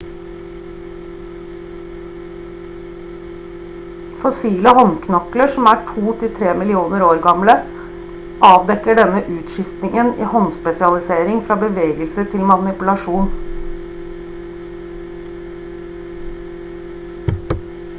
fossile håndknokler som er 2-3 millioner år gamle avdekker denne utskiftningen i håndspesialisering fra bevegelse til manipulasjon